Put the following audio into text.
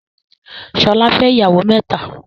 Ṣọlá fẹ́ ìyàwó mẹ́ta.